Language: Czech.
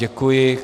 Děkuji.